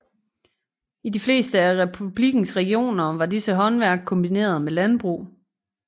I de fleste af republikkens regioner var disse håndværk kombineret med landbrug